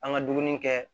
An ka dumuni kɛ